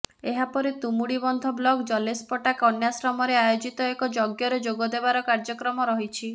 ଏହା ପରେ ତୁମୁଡିବନ୍ଧ ବ୍ଲକ ଜଲେଶପଟା କନ୍ୟାଶ୍ରମରେ ଆୟୋଜିତ ଏକ ଯଜ୍ଞରେ ଯୋଗଦେବାର କାର୍ୟ୍ୟକ୍ରମ ରହିଛି